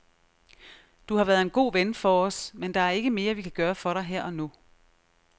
Du har været en god ven for os, men der er ikke mere, vi kan gøre for dig her og nu.